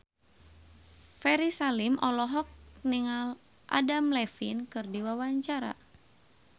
Ferry Salim olohok ningali Adam Levine keur diwawancara